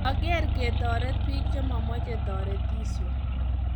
ang'er ketoret biik che mamechei toretisio